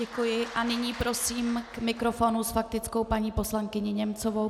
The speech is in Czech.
Děkuji a nyní prosím k mikrofonu s faktickou paní poslankyni Němcovou.